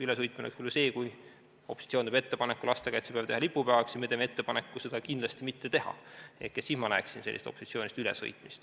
Ülesõitmine oleks võib-olla see, kui opositsioon teeb ettepaneku lastekaitsepäev teha lipupäevaks ja meie teeme ettepaneku seda kindlasti mitte teha, siis ma näeksin opositsioonist ülesõitmist.